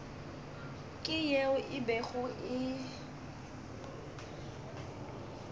ke yeo e bego e